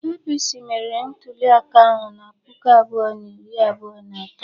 APC meriri ntuliaka ahụ na puku abụọ na iri abụọ na atọ.